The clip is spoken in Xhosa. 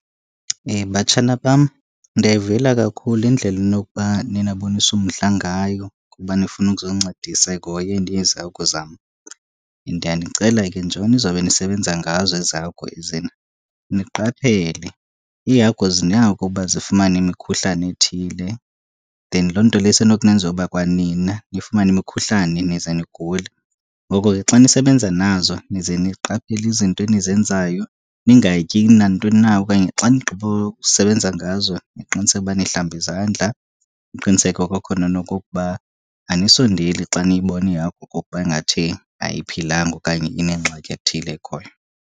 Batshana bam, ndiyayivuyela kakhulu indlela enokuba niye nabonisa umdla ngayo kuba nifuna ukuzoncedisa ekuhoyeni ezi hagu zam. Ndiyanicela ke nje nizobe nisebenza ngazo ezi hagu ize niqaphele. Iihagu zinako uba zifumane imikhuhlane ethile then loo nto leyo isenokunenza uba kwa nina nifumane imikhuhlane nize nigule. Ngoko ke xa nisebenza nazo nize niqaphele izinto enizenzayo, ningatyi nantoni na okanye xa nigqibokusebenza ngazo niqiniseke uba nihlamba izandla. Niqiniseke kwakhona nokokuba anisondeli xa niyibona ihagu okokuba ingathi ayiphilanga okanye inengxaki ethile ekhoyo.